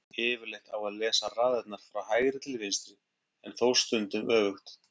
Yfirleitt á að lesa raðirnar frá hægri til vinstri en þó stundum öfugt.